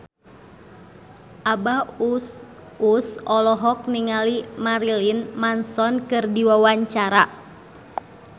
Abah Us Us olohok ningali Marilyn Manson keur diwawancara